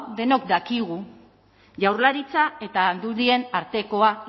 denok dakigu jaurlaritza eta aldundien artekoa